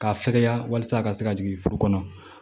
K'a fɛkɛya walasa a ka se ka jigin furu kɔnɔ